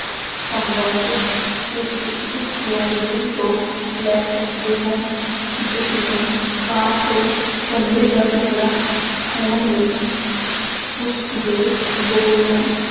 ਸੰਬੰਧ ਤੁਸੀਂ ਉਸ ਲੋਂਬੜੀ ਤੋਂ ਲੈ ਸਕਦੇ ਹੋ ਜਿਸ ਨੇ ਕਾਂ ਤੋਂ ਪਨੀਰ ਦਾ ਟੁੱਕੜਾ ਖੋਹਣ ਲਈ ਉਸਦੇ ਬੋਲ ਨੂੰ